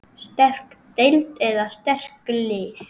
Sterk deild eða sterk lið?